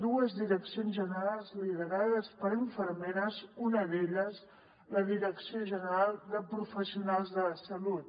dues direccions generals liderades per infermeres una d’elles la direcció general de professionals de la salut